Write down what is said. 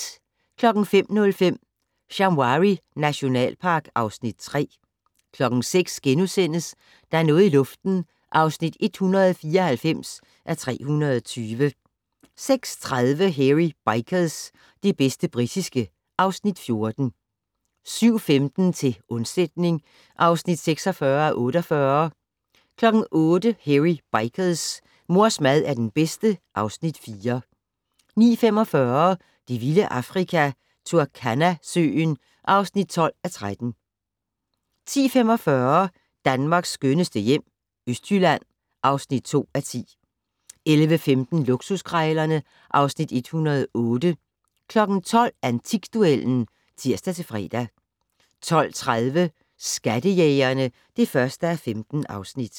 05:05: Shamwari nationalpark (Afs. 3) 06:00: Der er noget i luften (194:320)* 06:30: Hairy Bikers - det bedste britiske (Afs. 14) 07:15: Til undsætning (46:48) 08:00: Hairy Bikers: Mors mad er den bedste (Afs. 4) 09:45: Det vilde Afrika - Turkana-søen (12:13) 10:45: Danmarks skønneste hjem - Østjylland (2:10) 11:15: Luksuskrejlerne (Afs. 108) 12:00: Antikduellen (tir-fre) 12:30: Skattejægerne (1:15)